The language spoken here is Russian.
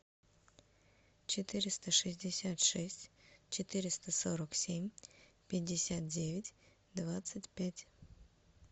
четыреста шестьдесят шесть четыреста сорок семь пятьдесят девять двадцать пять